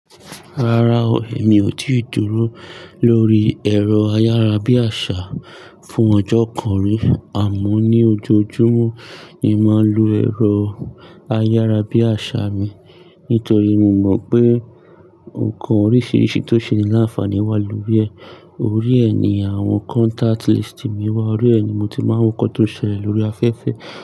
Rárá o, èmi ò tíì dúró lórí ẹ̀rọ ayárabíàṣá fún ọjọ́ kan rí àmọ́ ní ojoojúmọ́ ni màá ń lo ẹ̀rọ ayárabíàṣá mi, nítorí mo mọ̀ pé nnkan oríṣiríṣi tó ṣe ní láǹfààní wà lórí ẹ̀. Orí ẹ̀ ni àwọn contact list mi wà, orí ẹ̀ ni mo ti máa ń kọ́ tó ṣẹlẹ̀ lórí afẹ́fẹ́